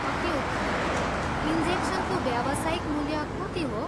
अति उत्तम। इन्जेक्सनको व्यावसायिक मूल्य कति हो?